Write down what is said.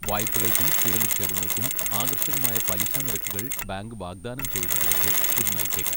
വായ്പകൾക്കും സ്ഥിരനിക്ഷേപങ്ങൾക്കും ആകർഷകമായ പലിശ നിരക്കുകൾ ബാങ്ക് വാഗ്ദാനം ചെയ്യുന്നതിലേക്ക് ഇത് നയിച്ചേക്കാം.